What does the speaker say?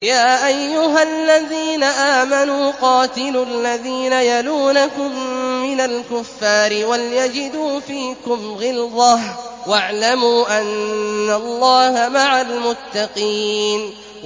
يَا أَيُّهَا الَّذِينَ آمَنُوا قَاتِلُوا الَّذِينَ يَلُونَكُم مِّنَ الْكُفَّارِ وَلْيَجِدُوا فِيكُمْ غِلْظَةً ۚ وَاعْلَمُوا أَنَّ اللَّهَ مَعَ الْمُتَّقِينَ